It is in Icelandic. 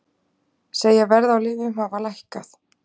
Segja verð á lyfjum hafa lækkað